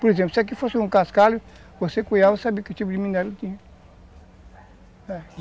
Por exemplo, se aqui fosse um cascalho, você cuiava e sabia que tipo de minério tinha.